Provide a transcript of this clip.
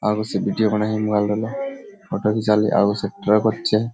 आगु से वीडियो बनाही मोबाइल वाला फोटो घीचालीह आगु से --